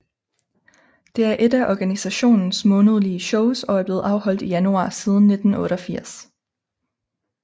Det er ét af organisationens månedlige shows og er blevet afholdt i januar siden 1988